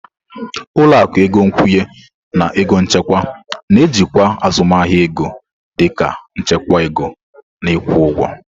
Ụlọ akụ ego nkwụnye na ego nchekwa na-ejikwa azụmahịa ego dị ka nchekwa ego na ịkwụ ụgwọ.